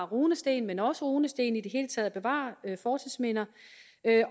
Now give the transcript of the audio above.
runesten men også runesten og i det hele taget bevare fortidsminder